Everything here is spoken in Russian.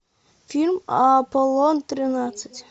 фильм аполлон тринадцать